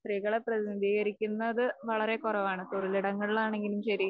സ്ത്രീകളെ പ്രതിനിധീകരിക്കുന്നത് വളരെ കുറവാണ്. തൊഴിലിടങ്ങളിലാണെങ്കിലും ശെരി.